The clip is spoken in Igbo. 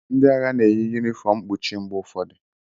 Ndị agha na-eyi yunifọọm mkpuchi mgbe ụfọdụ.